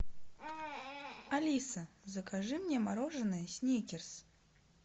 алиса закажи мне мороженое сникерс